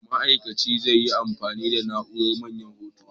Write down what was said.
Mai aiki zai yi amfani da na'urar Manyan Hoto.